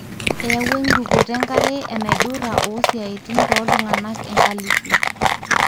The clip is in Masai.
eyawua erukoto enkare enaidurta osiatin toltunganaa enkalifu.